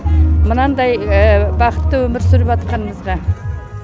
мынандай бақытты өмір сүріп жатқанымызға